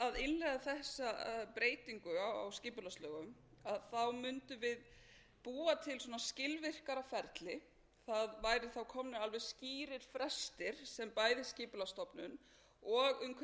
því að innleiða þessa breytingu á skipulagslögum mundum við búa til skilvirkara ferli það væru þá komnir alveg skýrir frestir sem væru skipulagsstofnun og umhverfisráðherra hefðu